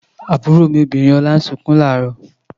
Àbúrò obìnrin Ọlá ń sunkún láàárọ̀.